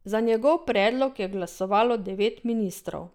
Za njegov predlog je glasovalo devet ministrov.